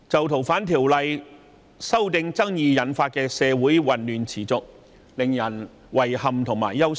《逃犯條例》修訂爭議引發的社會混亂持續，令人遺憾和憂心。